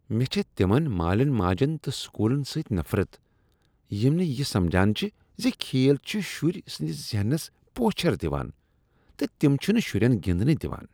مےٚ چھےٚ تمن مالین ماجن تہٕ سکولن سۭتۍ نفرت یم نہٕ یہ سمجان چھِ ز کھیل چھ شرۍ سنٛدس ذہنس پوچھر دوان تہٕ تِم چھنہ شرین گنٛدنہٕ دِوان۔